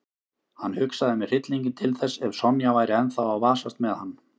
Hann hugsaði með hryllingi til þess ef Sonja væri ennþá að vasast með hann.